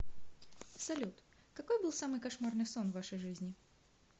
салют какой был самый кошмарный сон в вашей жизни